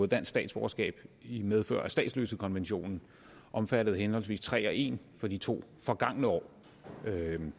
dansk statsborgerskab i medfør af statsløsekonventionen omfattede henholdsvis tre og en i de to forgangne år